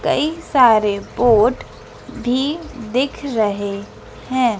कई सारे बोर्ड भी दिख रहे हैं।